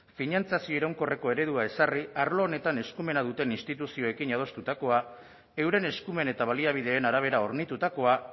finantzazio iraunkorreko eredua ezarri arlo honetan eskumena duten instituzioekin adostutakoa euren eskumen eta baliabideen arabera hornitutakoa